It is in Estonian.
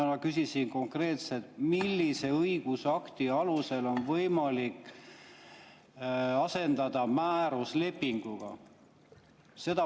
Ma küsisin konkreetselt, millise õigusakti alusel on võimalik asendada määrus lepinguga.